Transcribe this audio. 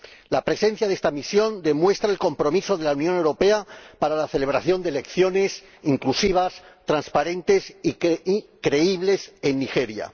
La presencia de esta misión demuestra el compromiso de la Unión Europea para la celebración de unas elecciones inclusivas, transparentes y creíbles en Nigeria.